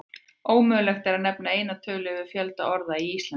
Ómögulegt er að nefna eina tölu yfir fjölda orða í íslensku.